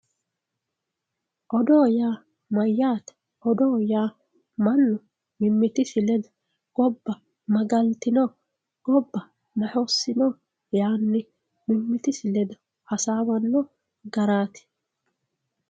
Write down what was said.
odoo yaa mayyate odoo yaa mannu mimmitisi ledo gobba ma galtino gobba ma galtino yaanni mimmitisi ledo hasaawanno garaati